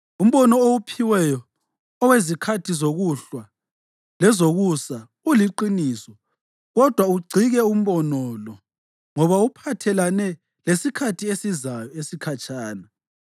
“Umbono owuphiweyo owezikhathi zokuhlwa lezokusa uliqiniso, kodwa ugcike umbono lo, ngoba uphathelane lesikhathi esizayo esikhatshana.”